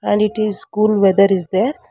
and it is cool weather is there--